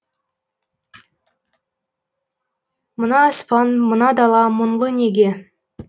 мына аспан мына дала мұңлы неге